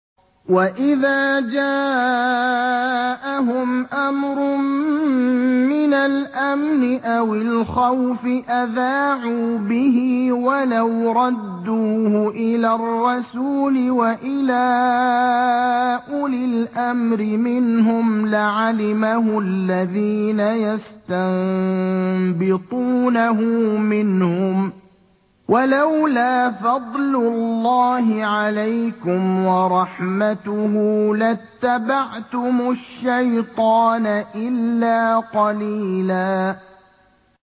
وَإِذَا جَاءَهُمْ أَمْرٌ مِّنَ الْأَمْنِ أَوِ الْخَوْفِ أَذَاعُوا بِهِ ۖ وَلَوْ رَدُّوهُ إِلَى الرَّسُولِ وَإِلَىٰ أُولِي الْأَمْرِ مِنْهُمْ لَعَلِمَهُ الَّذِينَ يَسْتَنبِطُونَهُ مِنْهُمْ ۗ وَلَوْلَا فَضْلُ اللَّهِ عَلَيْكُمْ وَرَحْمَتُهُ لَاتَّبَعْتُمُ الشَّيْطَانَ إِلَّا قَلِيلًا